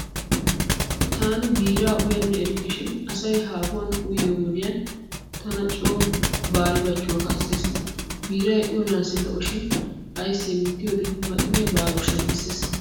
Taani biiraa uyanne erikkeshin asay haahuwan uyyiyo wodiyan haani tana coo baaribachchuwa kaassees. Biiray uyanaassi lo'oshin aysse mittiyoode maxiniya baarooshsha giissees.